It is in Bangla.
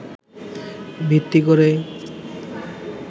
ভিত্তি করে